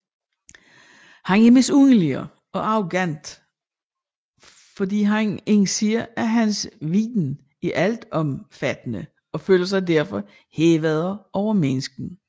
Han er misundelig og arrogant fordi han indser at hans viden er altomfattende og føler sig derfor hævet over menneskerne